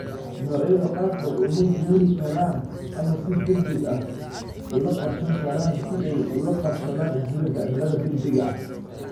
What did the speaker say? Noocyada qaarkood uma guuri karaan ama si degdeg ah ula qabsan karaan si ay ula qabsadaan isbeddelka cimilada degdegga ah.